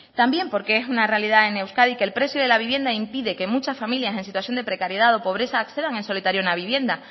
también porque es una realidad en euskadi que el precio de la vivienda impide que muchas familias en situación de precariedad o pobreza accedan en solitario a una vivienda